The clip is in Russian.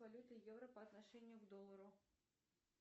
валюты евро по отношению к доллару